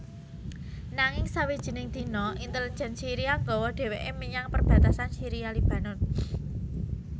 Nanging sawijining dina intelijen Syiria nggawa dheweke menyang perbatasan Syria Lebanon